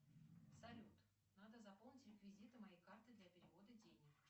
салют надо заполнить реквизиты моей карты для перевода денег